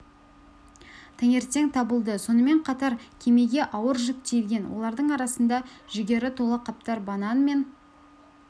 таңертең табылды сонымен қатар кемеге ауыр жүк тиелген олардың арасында жүгері тола қаптар банан мен